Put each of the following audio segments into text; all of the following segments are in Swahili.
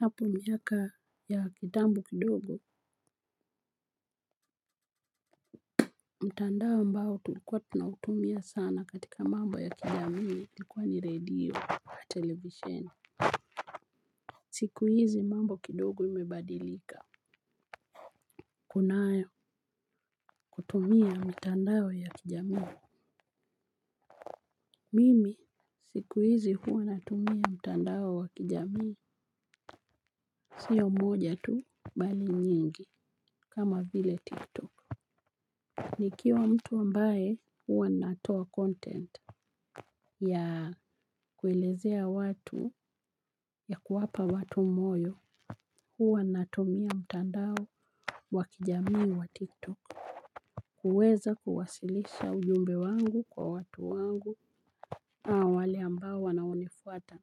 Hapo miaka ya kitambo kidogo, mtandao ambao tulikuwa tunautumia sana katika mambo ya kijamii ilikuwa ni redio wa televisheni. Siku hizi mambo kidogo imebadilika. Kunayo hutumia mitandao ya kijamii. Mimi siku hizi huwa natumia mtandao wa kijamii. Sio moja tu bali nyingi kama vile tiktok. Nikiwa mtu ambaye huwa natoa content. Ya kuelezea watu ya kuwapa watu moyo huwa natumia mtandao wa kijamii wa tiktok. Kuweza kuwasilisha ujumbe wangu kwa watu wangu na wale ambao wanaonifuata.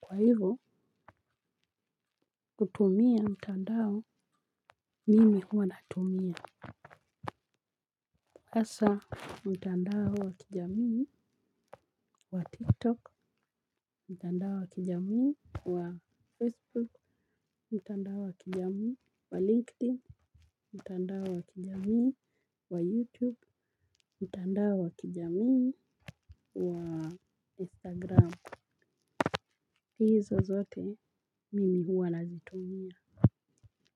Kwa hivo kutumia mtandao mimi huwa natumia hasa mtandao wa kijamii wa tiktok, mtandao wa kijamii wa facebook, mtandao wa kijamii wa linkedin mtandao wa kijamii wa youtube, mtandao wa kijamii wa instagram hizo zote mimi huwa nazitumia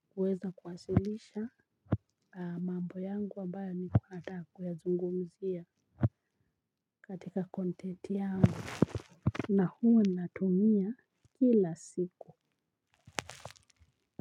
kuweza kuwasilisha mambo zangu ambayo nilikua nataka kuyazungumzia na huwa.